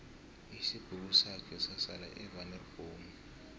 isibhukusakhe sasala evaneri bhomu